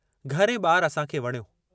घरु ऐं ॿारु असां खे वणियो।